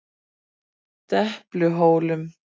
Depluhólum